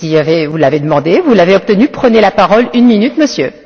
Vous l'avez demandé, vous l'avez obtenu, prenez la parole une minute, Monsieur.